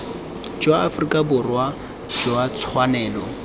jwa aforika borwa jwa tshwanelo